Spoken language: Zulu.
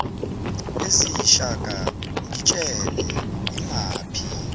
eziyishaka ngitshele imaphi